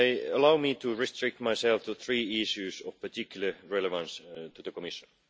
Allow me to restrict myself to three issues of particular relevance to the Commission.